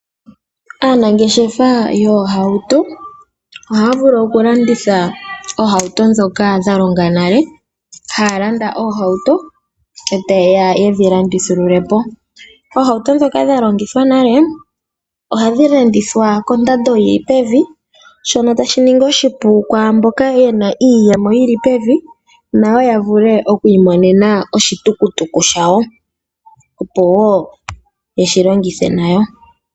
Aanangeshefa yoohauto ohaya vulu okulanditha oohauto ndhoka dhalonga nale . Haya landa oohauto, eta yeya yedhi landithululepo . Oohauto ndhoka dha longithwa nale ohadhi landithwa kondando yili pevi , shono tashi shiningi oshipu kwaamboka yena iiyemo iishona nayo yavule okwiimonena oshitukutuku shayo, opo yeshi longithe nayo.